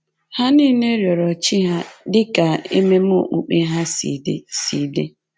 Ha nile rịọrọ chi ha dị ka ememe okpukpe ha si dị si dị